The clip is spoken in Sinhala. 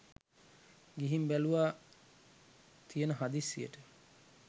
ගිහින් බැලුවා තියෙන හදිස්සියට